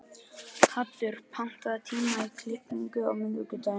Haddur, pantaðu tíma í klippingu á miðvikudaginn.